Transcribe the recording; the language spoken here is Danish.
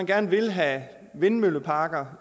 gerne vil have vindmølleparker